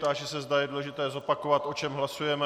Táži se, zda je důležité zopakovat, o čem hlasujeme.